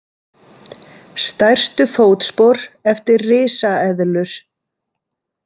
Stærstu fótspor eftir risaeðlur.